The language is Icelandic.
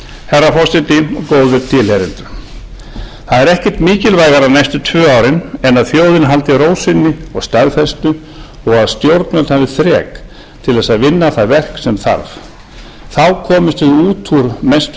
herra forseti góðir tilheyrendur það er ekkert mikilvægara næstu tvö árin en að þjóðin haldi ró sinni og staðfestu og að stjórnvöld hafi þrek til þess að vinna það verk sem þarf þá komumst við út úr mestu